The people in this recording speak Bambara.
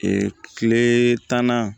kile tan na